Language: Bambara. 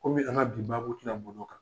Kɔmi an ka b bi baabu tɛn boli o kan.